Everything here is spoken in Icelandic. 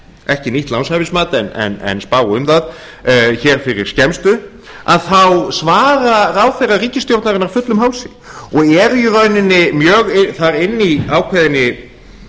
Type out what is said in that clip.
ekki nýtt lánshæfismat en spá um það hér fyrir skemmstu þá svara ráðherrar ríkisstjórnarinnar fullum hálsi og eru í rauninni mjög þar inni í ákveðinni